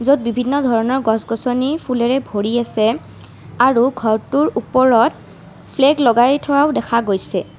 য'ত বিভিন্ন ধৰণৰ গছ গছনী ফুলেৰে ভৰি আছে আৰু ঘৰটোৰ ওপৰত ফ্লেগ লগাই থোৱাও দেখা গৈছে।